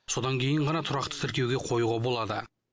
содан кейін ғана тұрақты тіркеуге қоюға болады